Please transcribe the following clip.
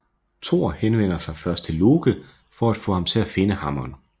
Thor henvender sig først til Loke for at få ham til at finde hammeren